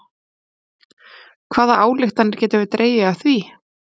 Hvaða ályktanir getum við dregið af því?